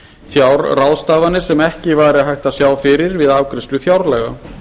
fjárráðstafanir sem ekki er hægt að sjá fyrir við afgreiðslu fjárlaga